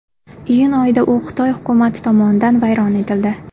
Iyun oyida u Xitoy hukumati tomonidan vayron etildi.